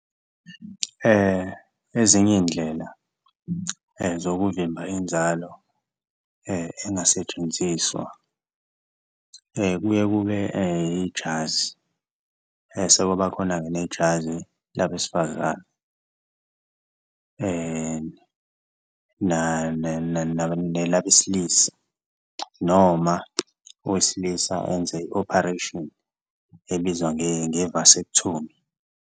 Ezinye iy'ndlela zokuvimba inzalo engasetshenziswa kuye kube ijazi sekwaba khona-ke nejazi labesifazane nelabesilisa, noma owesilisa enze i-operation ebizwa nge-vasectomy.